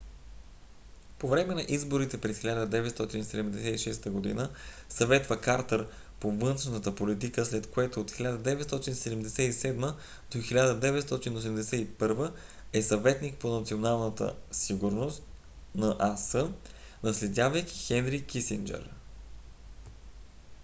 по време на изборите през 1976 г. съветва картър по външната политика след което от 1977 до 1981 г. е съветник по националната сигурност нас наследявайки хенри кисинджър